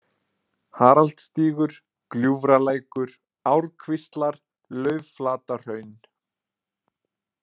Haraldsstígur, Gljúfralækur, Árkvíslar, Laufflatahraun